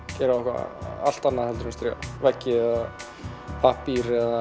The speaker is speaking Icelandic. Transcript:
eitthvað allt annað en á striga veggi eða pappír eða